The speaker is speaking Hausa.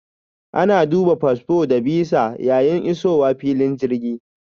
Ana duba fasfo da bisa yayin isowa filin jirgi.